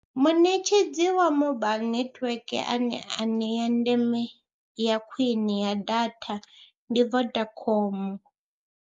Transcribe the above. Muṋetshedzi wa mobaiḽi netiweke ane anea ndeme ya khwine ya data ndi Vodacom.